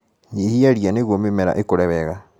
Nyihia ria nĩguo mĩmera ĩkũre wega.